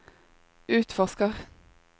utforsker